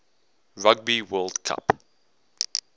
rugby world cup